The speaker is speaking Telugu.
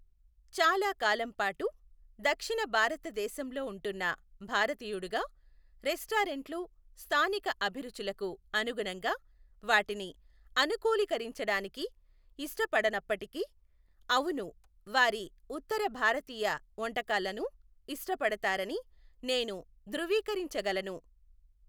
చాలా కాలం పాటు దక్షిణ భారతదేశంలో ఉంటున్న భారతీయుడుగా రెస్టారెంట్లు స్థానిక అభిరుచులకు అనుగుణంగా వాటిని అనుకూలికరించడానికి ఇష్టపడనప్పటికీ, అవును వారి ఉత్తర భారతీయు వంటకాలను ఇష్టపడతారని నేను ధ్రువీకరించగలను,